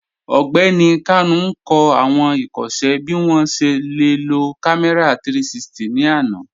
Ọgbẹni Kanu n kọ awọn ikọṣẹ bi wọn ṣe le lo kàmẹ̀rà 360 ni àná.